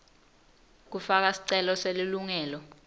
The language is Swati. kufaka sicelo selilungelo